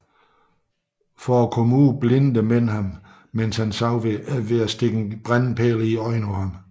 For at komme ud blindede mændene ham mens han sov ved at stikke en brændende pæl i øjet på ham